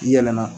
I yɛlɛla